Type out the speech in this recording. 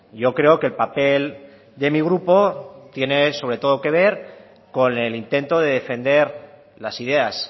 yo creo que el papel de mi grupo tiene sobre todo que ver con el intento de defender las ideas